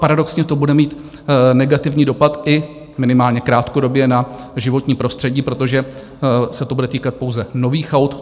Paradoxně to bude mít negativní dopad i minimálně krátkodobě na životní prostředí, protože se to bude týkat pouze nových aut.